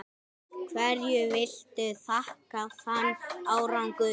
Hverju viltu þakka þann árangur?